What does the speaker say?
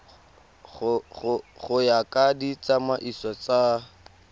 go ya ka ditsamaiso tsa